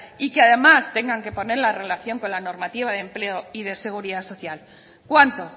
y que además tengan que poner la relación con la normativa de empleo y de seguridad social cuánto